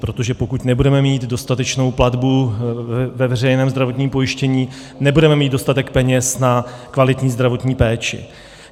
Protože pokud nebudeme mít dostatečnou platbu ve veřejném zdravotním pojištění, nebudeme mít dostatek peněz na kvalitní zdravotní péči.